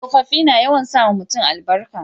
tsofaffi na yawan sa ma mutum albarka